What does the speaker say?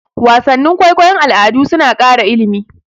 Wasannin kwaikwayon al'adu suna ƙara ilimi.